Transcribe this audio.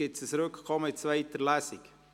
Gibt es ein Rückkommen in zweiter Lesung?